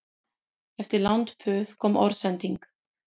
Eftir langt puð kom orðsending